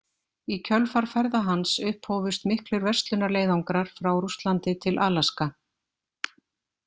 Í kjölfar ferða hans upphófust miklir verslunarleiðangrar frá Rússlandi til Alaska.